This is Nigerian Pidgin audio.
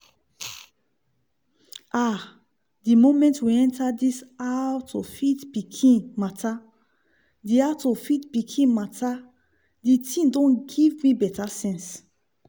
ah! the moment we enter this 'how-to-feed-pikin' matter d 'how-to-feed-pikin' matter d thing don giv me betta sense